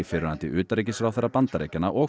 fyrrverandi utanríkisráðherra Bandaríkjanna og